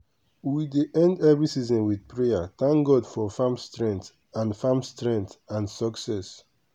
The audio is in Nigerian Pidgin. we dey end every season with prayer thank god for farm strength and farm strength and success.